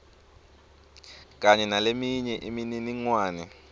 kanye naleminye imininingwane